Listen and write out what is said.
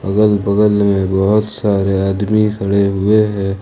अगल बगल में बहुत सारे आदमी खड़े हुए है।